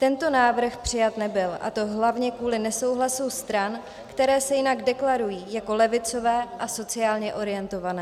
Tento návrh přijat nebyl, a to hlavně kvůli nesouhlasu stran, které se jinak deklarují jako levicové a sociálně orientované.